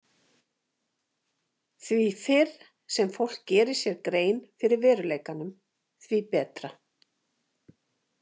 Því fyrr sem fólk gerir sér grein fyrir veruleikanum, því betra.